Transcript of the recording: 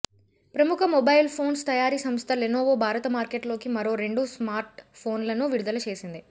ప్రముఖ mobile phones తయారీ సంస్థ లెనోవో భారత మార్కెట్లోకి మరో రెండు స్మార్ట్ ఫోన్లను విడుదల చేసింది